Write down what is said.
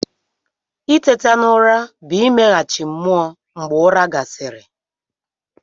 Itete n'ụra bụ imeghachi mmụọ mgbe ụra gasịrị.